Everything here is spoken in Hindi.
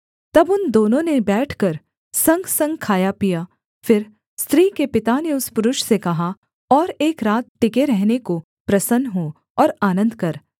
तब उन दोनों ने बैठकर संगसंग खाया पिया फिर स्त्री के पिता ने उस पुरुष से कहा और एक रात टिके रहने को प्रसन्न हो और आनन्द कर